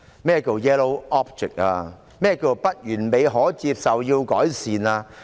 何謂"不完美、可接受、要改善"？